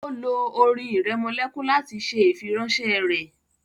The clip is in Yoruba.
o lo orin iremolekun lati ṣe ifiranṣẹ rẹ